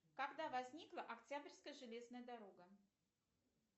когда возникла октябрьская железная дорога